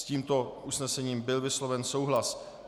S tímto usnesením byl vysloven souhlas.